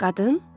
Qadın?